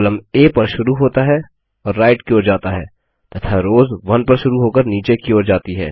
column आ पर शुरू होता है और राइट की ओर जाता है तथा रोज 1 पर शुरू होकर नीचे की ओर जाती है